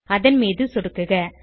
அதன் மீது சொடுக்குக